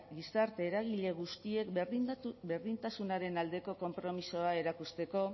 gizarte eragile guztiek berdintasunaren aldeko konpromisoa erakusteko